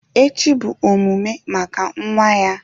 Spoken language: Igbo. Echi bụ omume maka nwa ya